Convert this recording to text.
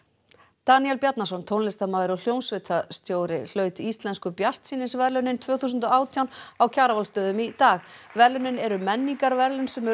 Daníel Bjarnason tónlistarmaður og hljómsveitarstjóri hlaut Íslensku bjartsýnisverðlaunin tvö þúsund og átján á Kjarvalsstöðum í dag verðlaunin eru menningarverðlaun sem eru